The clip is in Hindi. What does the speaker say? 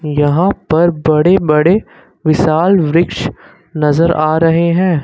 यहां पर बड़े बड़े विशाल वृक्ष नजर आ रहे हैं।